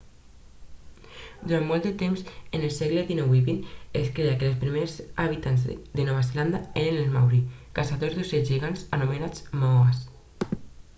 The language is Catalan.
durant molt de temps en els segles dinou i vint es creia que els primers habitants de la nova zelanda eren els maori caçadors d'ocells gegants anomenats moas